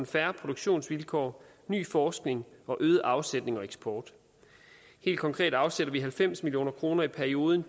fair produktionsvilkår ny forskning og øget afsætning og eksport helt konkret afsætter vi halvfems million kroner i perioden